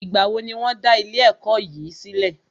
Ìgbà wo ní wọ́n dá ilé ẹ̀kọ́ yìí sílẹ̀?